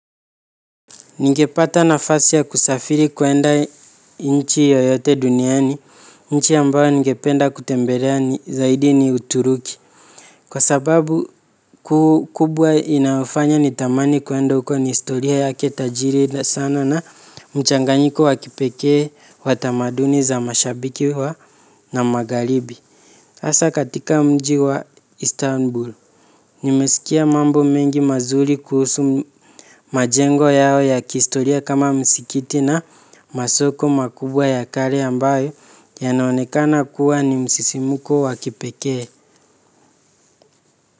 Ningepata nafasi ya kusafiri kwenda nchi yoyote duniani, nchi ambayo ningependa kutembelea zaidi ni uturuki. Kwa sababu ku kubwa inafanya ni tamani kuenda uko ni istoria yake tajiri sana na mchanganyiko wa kipekee wa tamaduni za mashabiki wa na magharibi. Asa katika mji wa Istanbul, nimesikia mambo mengi mazuri kuhusu majengo yao ya kiistoria kama msikiti na masoko makubwa ya kale ambayo yanaonekana kuwa ni msisimuko wa kipekee.